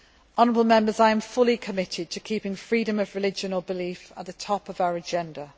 Honourable Members, I am fully committed to keeping freedom of religion or belief at the top of our agenda.